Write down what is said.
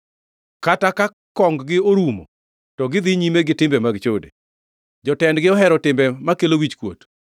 Kata ka kong-gi orumo, to gidhi nyime gi timbegi mag chode; jotendgi ohero timbe makelo wichkuot.